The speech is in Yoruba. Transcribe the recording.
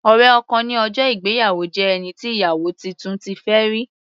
Ọ̀rẹ́ ọkọ ní ọjọ́ ìgbéyàwó jẹ́ ẹni tí ìyàwó titun ti fẹ́ rí.